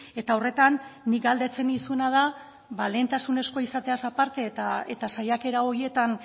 eta horretan nik galdetzen nizuna da lehentasunezkoa izateaz aparte eta saiakera horietan